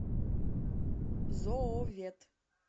зоовет